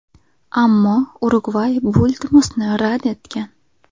Ammo Urugvay bu iltimosni rad etgan.